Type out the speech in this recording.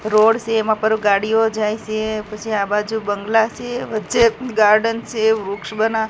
road સે એમાં પર ગાડીઓ જાય સે પછી આબાજુ બંગલા સે વચ્ચે ગાર્ડન સે વૃક્ષ બના--